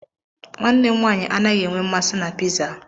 Nwannem nwaanyị anaghị enwe mmasị na pịzaa.